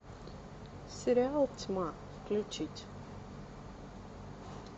сериал тьма включить